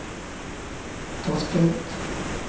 Tasjkent